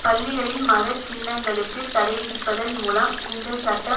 பள்ளிகளில் மத சின்னங்களுக்கு தடைவிதிப்பதன் மூலம் இந்த சட்டம்